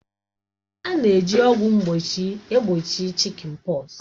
A na-eji ọgwụ mgbochi gbochie chị́kịn pọksi